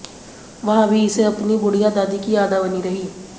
वहां भी इसे अपनी बुढ़िया दादी की याद बनी रही